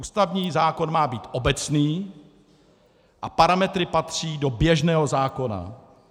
Ústavní zákon má být obecný a parametry patří do běžného zákona.